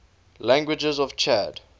languages of chad